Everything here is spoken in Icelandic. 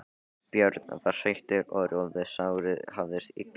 Björn var sveittur og rjóður, sárið hafðist illa við.